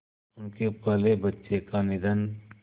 उनके पहले बच्चे का निधन